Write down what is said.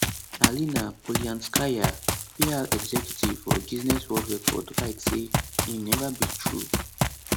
alina polianskaya pr executive for guinness world record write say im neva be true